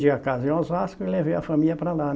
Di a casa em Osasco e levei a família para lá, né?